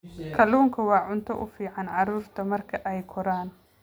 Kalluunku waa cunto u fiican carruurta marka ay koraan.